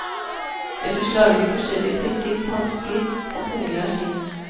Ellers lager de forskjellige sekker, tasker og punger av skinn.